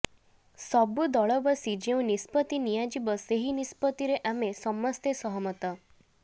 ସବୁ ଦଳ ବସି ଯେଉଁ ନିଷ୍ପତ୍ତି ନିଆଯିବ ସେହି ନିଷ୍ପତ୍ତିରେ ଆମେ ସମସ୍ତେ ସହମତ